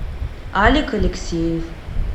алик алексеев